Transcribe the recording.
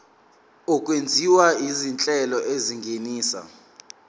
okwenziwa izinhlelo ezingenisa